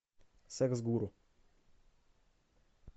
секс гуру